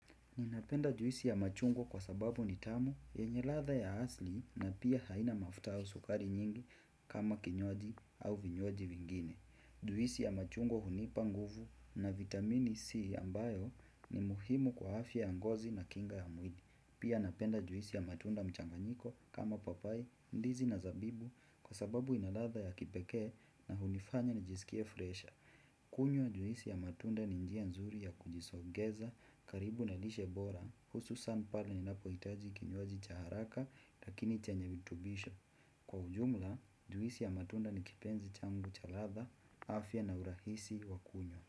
Ninapenda juisi ya machungwa kwa sababu nitamu, yenye latha ya asli na pia haina mafuta au sukari nyingi kama kinywaji au vinywaji vingine. Juisi ya machungwa hunipa nguvu na vitamini C ambayo ni muhimu kwa afya ya ngozi na kinga ya mwili. Pia napenda juisi ya matunda mchanganyiko kama papai, ndizi na zabibu kwa sababu inaladha ya kipekee na hunifanya na jisikie fresher. Kunywa wa juisi ya matunda ni njia nzuri ya kujisogeza, karibu na lishebora, hususan pala ni napohitaji kinyoaji cha haraka lakini chenye vitubisha. Kwa ujumla, juisi ya matunda ni kipenzi changu cha ladha, afya na urahisi wa kunywa.